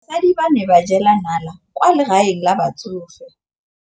Basadi ba ne ba jela nala kwaa legaeng la batsofe.